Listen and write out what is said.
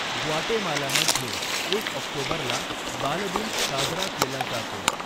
ग्वाटेमालामध्ये एक ऑक्टोबरला बालदिन साजरा केला जातो.